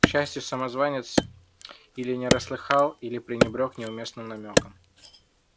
к счастью самозванец или не расслыхал или пренебрёг неуместным намёком